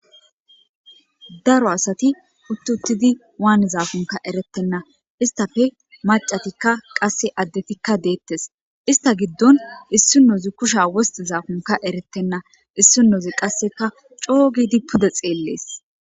daro asati uttuttidi waanizaakonka erettenna istafe macatikka qasse addetikka deettes ista giddon issi nozi kusha wosti zaakonka eretenna issi nozi qasseka coo gidi pude xeellees